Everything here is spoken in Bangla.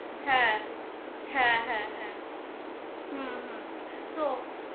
হ্যা হ্যা হ্যা হ্যা হম তো